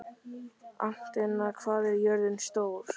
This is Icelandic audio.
Arntinna, hvað er jörðin stór?